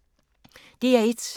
DR1